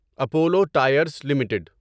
Apollo Tyres limited